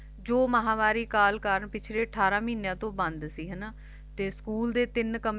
ਜੋ ਮਹਾਵਾਰੀ ਕਾਲ ਕਾਰਨ ਪਿਛਲੇ ਅਠਾਰਾਂ ਮਹੀਨਿਆਂ ਤੋਂ ਬੰਦ ਸੀ ਹਨਾਂ ਤੇ ਸਕੂਲ ਤਿੰਨ ਹਾਂਜੀ ਕਮਰੇ